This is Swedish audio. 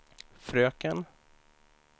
fröken